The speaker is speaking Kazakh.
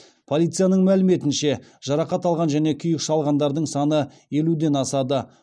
полицияның мәліметінше жарақат алған және күйік шалғандардың саны елуден асады